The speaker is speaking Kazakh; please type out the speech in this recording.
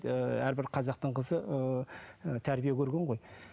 ыыы әрбір қазақтың қызы ы тәрбие көрген ғой